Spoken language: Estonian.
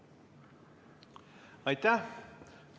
Aitäh!